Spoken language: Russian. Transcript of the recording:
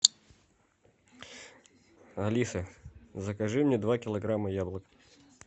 алиса закажи мне два килограмма яблок